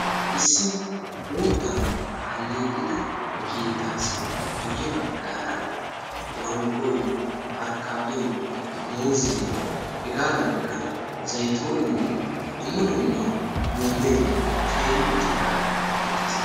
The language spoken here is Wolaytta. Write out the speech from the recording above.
issi uuttan aleeqida keettassi guye bagara manggoy , afkaaddoy, muuzee, hegaadankka zaytoone dumma dumma loome teeri uttidaage beetes.